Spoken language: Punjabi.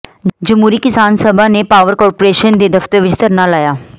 ਜਮਹੂਰੀ ਕਿਸਾਨ ਸਭਾ ਨੇ ਪਾਵਰ ਕਾਰਪੋਰੇਸ਼ਨ ਦੇ ਦਫ਼ਤਰ ਵਿੱਚ ਧਰਨਾ ਲਾਇਆ